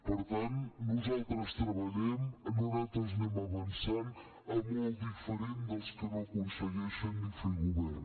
per tant nosaltres treballem nosaltres anem avançant molt diferent dels que no aconsegueixen ni fer govern